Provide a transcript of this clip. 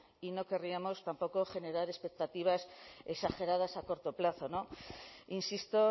y no querríamos tampoco generar expectativas exageradas a corto plazo insisto